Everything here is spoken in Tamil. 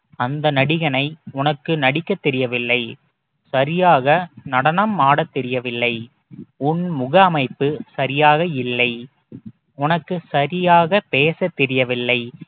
அந்த நடிகனை உனக்கு நடிக்கத் தெரியவில்லை சரியாக நடனம் ஆடத் தெரியவில்லை உன் முக அமைப்பு சரியாக இல்லை உனக்கு சரியாக பேசத் தெரியவில்லை